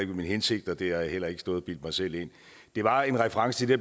min hensigt og det har jeg heller ikke stået og bildt mig selv ind det var en reference til det